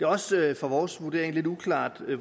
også efter vores vurdering lidt uklart hvad